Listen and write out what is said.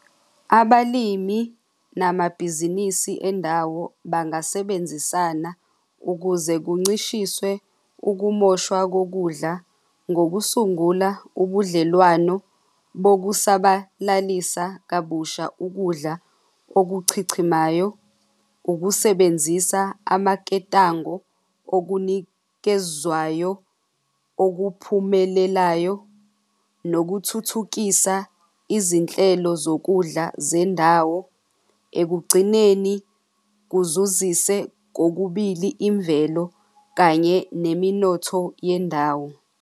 Abalimi namabhizinisi endawo bangasebenzisana ukuze kuncishiswe ukumoshwa kokudla ngokusungula ubudlelwano bokusabalalisa kabusha ukudla okuchichimayo, ukusebenzisa amaketango okunikezwayo okuphumelelayo nokuthuthukisa izinhlelo zokudla zendawo, ekugcineni kuzuzise kokubili imvelo kanye neminotho yendawo.